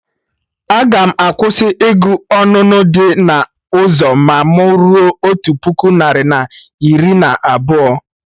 Aga m akwụsị ịgụ onunu dị na ụzọ ma mụ ruo otu puku narị na iri na abụọ